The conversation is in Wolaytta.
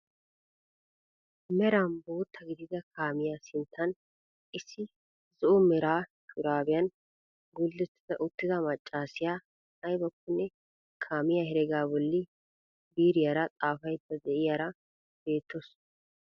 Meran bootta gidida kaamiyaa sinttan issi zo'o mera sharbbiyaan guletta uttida maccasiyaa aybakkone kaamiyaa heregaa bolli biiriyaara xaafayda de'iyaara bettawus.